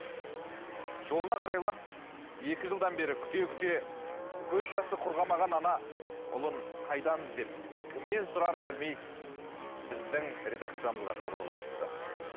жолына қарайлап екі жылдан бері күте күте көз жасы құрғамаған ана ұлын қайдан іздеп кімнен сұрарын білмей біздің редакциямызға хабарласыпты